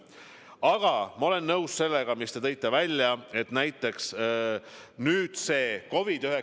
Aga ma olen nõus sellega, mis te tõite välja, et COVID-19 mõju on suur.